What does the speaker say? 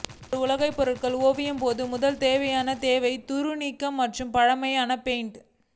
ஒரு உலோக பொருள் ஓவியம் போது முதல் தேவையான தேவை துரு நீக்க மற்றும் பழைய பெயிண்ட்